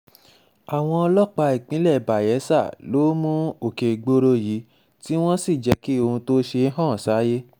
àwọn ọlọ́pàá ìpínlẹ̀ bayela ló mú òkègboro yìí tí wọ́n sì jẹ́ kí ohun tó ṣe hàn sáyé